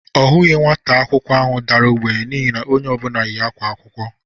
Ọ hụghị nwata akwụkwọ ahụ dara ogbenye n'ihi na onye ọbụla ákwá akwụkwọ.